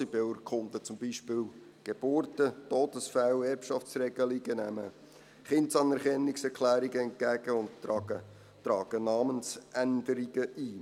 Sie beurkunden zum Beispiel Geburten, Todesfälle, Erbschaftsregelungen, nehmen Kindsanerkennungserklärungen entgegen und tragen Namensänderungen ein.